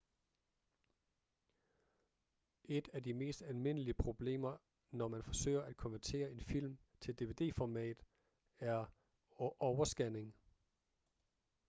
et af de mest almindelige problemer når man forsøger at konvertere en film til dvd-format er overscanning